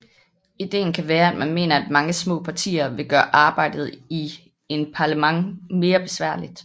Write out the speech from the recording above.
Ideen kan være at man mener at mange små partier vil gøre arbejdet i en parlament mere besværligt